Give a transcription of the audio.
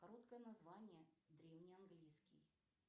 короткое название древнеанглийский